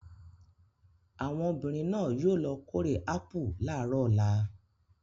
Àwọn obìnrin náà yóò lọ kórè ápù láàárọ̀ ọ̀la.